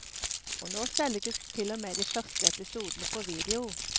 Og nå selges til og med de første episodene på video.